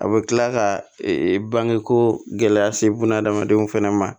A bɛ kila ka bange ko gɛlɛya se buna hadamadenw fɛnɛ ma